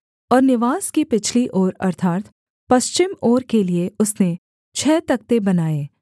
और निवास की पिछली ओर अर्थात् पश्चिम ओर के लिये उसने छः तख्ते बनाए